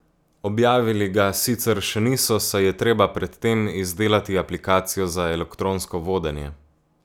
Objavili ga sicer še niso, saj je treba pred tem izdelati aplikacijo za elektronsko vodenje.